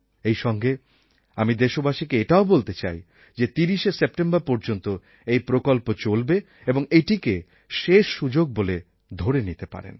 এইসঙ্গে আমি দেশবাসীকে এটাও বলতে চাই যে ৩০শে সেপ্টেম্বর পর্যন্ত এই প্রকল্প চলবে এবং এটাকে শেষ সুযোগ বলে ধরে নিতে পারেন